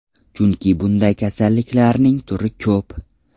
Chunki bunday kasalliklarning turi ko‘p.